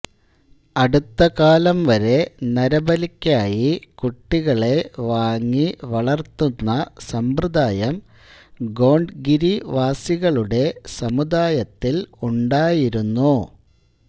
അടുത്തകാലംവരെ നരബലിക്കായി കുട്ടികളെ വാങ്ങി വളർത്തുന്ന സമ്പ്രദായം ഗോണ്ട് ഗിരിവാസികളുടെ സമുദായത്തിൽ ഉണ്ടായിരുന്നു